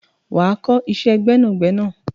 wà á kọ́ iṣẹ́ gbẹ́nàgbẹnà!